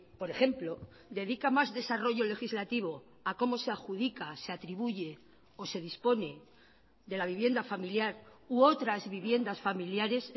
por ejemplo dedica más desarrollo legislativo a cómo se adjudica se atribuye o se dispone de la vivienda familiar u otras viviendas familiares